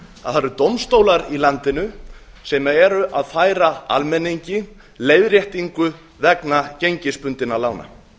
að það eru dómstólar í landinu sem eru að færa almenningi leiðréttingu vegna gengisbundinna lána